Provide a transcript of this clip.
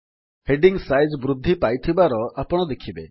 heading size ବୃଦ୍ଧି ପାଇଥିବାର ଆପଣ ଦେଖିବେ